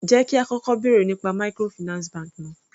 Jẹ́ kí á kọ́kọ́ bèrè nípa microfinance bank náà.